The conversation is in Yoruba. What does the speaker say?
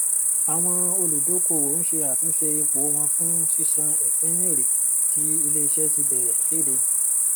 àwọn olùdókòwò ń ṣe àtúnṣe ipò wọn fún sísan ìpín èrè tí iléiṣẹ ti bẹrẹ kéde